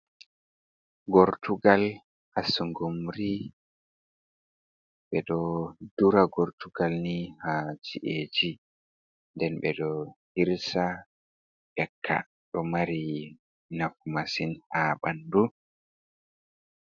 Gortugal assungumri, ɓe ɗo dura gortugal ni ha jiej nden ɓe ɗo hirsa yecka ɗo mari nafu masin ha ɓandu.